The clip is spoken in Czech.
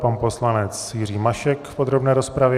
Pan poslanec Jiří Mašek v podrobné rozpravě.